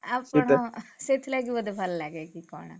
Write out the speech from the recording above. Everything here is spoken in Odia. ଆଉ କଣ ସେଥିଲାଗି ବୋଧେ ଭଲ ଲାଗେ କି କଣ?